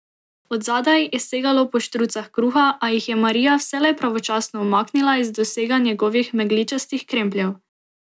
Od zadaj je segalo po štrucah kruha, a jih je Marija vselej pravočasno umaknila iz dosega njegovih megličastih krempljev.